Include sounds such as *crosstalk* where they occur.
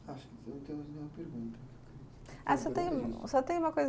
Acho que não temos nenhuma pergunta. *unintelligible* Ah, só tem, só tem uma coisa